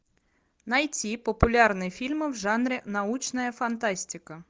найти популярные фильмы в жанре научная фантастика